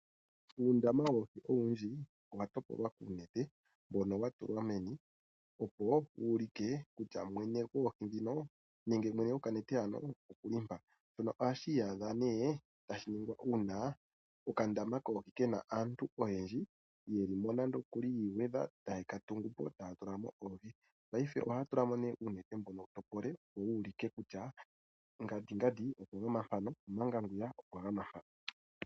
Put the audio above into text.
Uundama woohi owundji owa topolwa kuunete mbono wa tulwa meni opo wu ulike kutya mwene goohi dhino, nenge mwene go kanete hano okuli mpa. Shono ohashi iyadha nee tashi ningwa uuna okandama koohi kena aantu oyendji, ye li mo nande okuli ya igwedha, taye ka tungu po, taya tula mo oohi. Paife ohaya tula mo mee uunete mbono wu topole opo wu ulike kutya ngandi ngandi okwa gama mpano, omanga ngwiya okwa gama mpa.